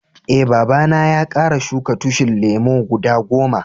Eh, baba na ya kara shuka tushin lemu guda goma.